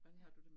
Ja